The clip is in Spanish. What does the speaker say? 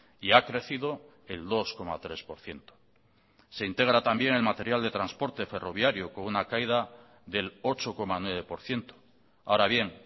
y ha crecido el dos coma tres por ciento se integra también el material de transporte ferroviario con una caída del ocho coma nueve por ciento ahora bien